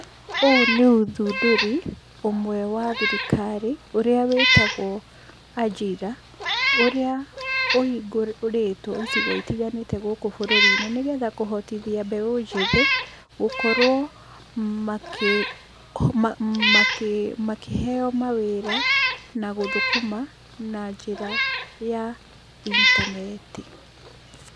Ũyũ nĩ ũthundũri ũmwe wa thirikari ũrĩa wĩtagwo Ajira, ũrĩa ũhingũrĩtwo icigo itiganĩte gũkũ bũrũri-inĩ, nĩgetha kũhotithia mbeũ njĩthĩ gũkorwo makĩ makĩheyo mawĩra na gũthũkũma na njĩra ya intaneti.